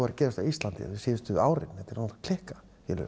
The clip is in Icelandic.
að gerast á Íslandi síðustu árin þetta er alveg klikkað